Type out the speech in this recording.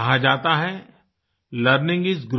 कहा जाता है लर्निंग इस Growing